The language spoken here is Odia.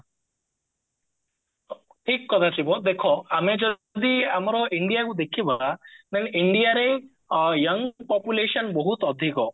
ଠିକ କଥା ସିବା ଦେଖା ଆମେ ଯଦି ଆମର indiaକୁ ଦେଖିବା then indiaରେ young population ବହୁତ ଅଧିକ